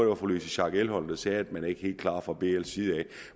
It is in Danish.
var fru louise schack elholm der sagde at man ikke er helt klar fra bls side